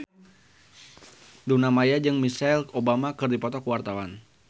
Luna Maya jeung Michelle Obama keur dipoto ku wartawan